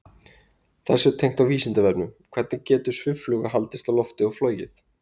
Þessu tengt á Vísindavefnum: Hvernig getur sviffluga haldist á lofti og flogið?